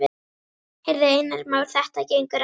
Heyrðu, Einar Már, þetta gengur ekki.